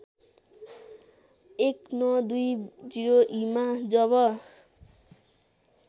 १९२० ईमा जब